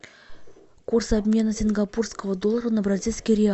курс обмена сингапурского доллара на бразильский реал